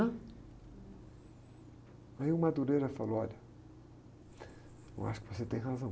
Aí o falou, olha, eu acho que você tem razão.